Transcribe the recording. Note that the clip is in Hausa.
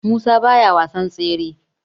Musa baya wasan tsere